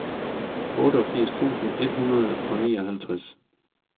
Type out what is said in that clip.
otteogfirs tusind et hundrede og nioghalvtreds